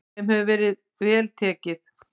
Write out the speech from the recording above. Þeim hefur verið vel tekið.